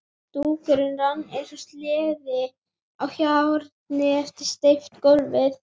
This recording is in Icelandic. Dúkurinn rann eins og sleði á hjarni yfir steypt gólfið.